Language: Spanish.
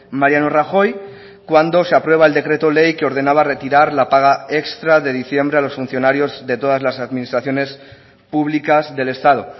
mariano rajoy cuando se aprueba el decreto ley que ordenaba retirar la paga extra de diciembre a los funcionarios de todas las administraciones públicas del estado